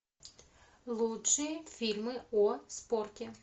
лучшие фильмы о спорте